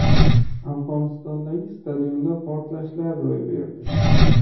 Afg‘onistondagi stadionda portlashlar ro‘y berdi.